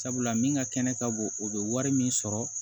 Sabula min ka kɛnɛ ka bon o bɛ wari min sɔrɔ